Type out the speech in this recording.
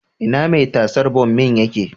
Ina mai tasar bommin yake?